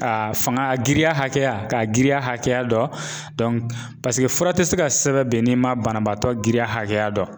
A a fanga a girinya hakɛ, k'a girinya hakɛya dɔn paseke fura te se ka sɛbɛn n'i ma banabaatɔ girinya hakɛya dɔn .